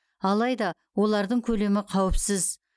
алайда олардың көлемі қауіпсіз